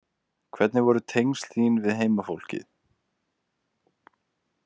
Hvernig voru tengsl þín við heimafólkið?